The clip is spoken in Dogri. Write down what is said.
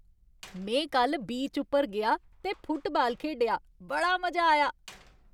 में कल्ल बीच उप्पर गेआ ते फुटबाल खेढेआ। बड़ा मजा आया।